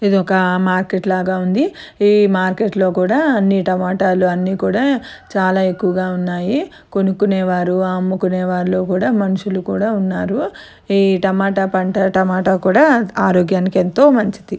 ఇది ఒక మార్కెట్ లాగ ఉంది. ఈ మార్కెట్ లో కూడా అన్ని టమాటాలు అన్ని కూడా చాలా ఎక్కువగా ఉన్నాయి. కొనుక్కునేవారు అమ్ముకునే వాళ్ళు కూడా మనుషులు కూడా ఉన్నారు. ఈ టమాటా పంట టమాటా కూడా ఆరోగ్యానికి ఎంతో మంచిది.